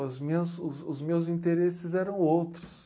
Os meus os os meus interesses eram outros.